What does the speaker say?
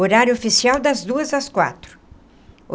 Horário oficial, das duas às quatro.